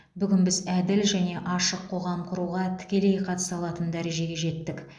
бүгін біз әділ және ашық қоғам құруға тікелей қатыса алатын дәрежеге жеттік